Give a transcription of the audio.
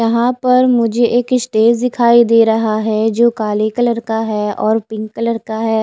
यहा पर मुझे एक स्टेज दिखाई दे रहा है जो काले कलर का है और पिंक कलर का है।